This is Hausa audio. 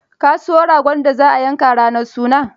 Ka siyo ragon da za a yanka ranar sunan.